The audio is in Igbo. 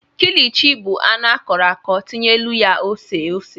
kilichi bụ anụ akọrọ akọrọ tinyelụ ya ose ose.